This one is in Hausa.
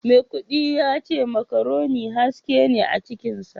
Maikudi yace macaroni haske ne a cikinsa